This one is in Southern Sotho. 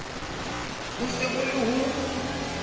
bo se bo le ho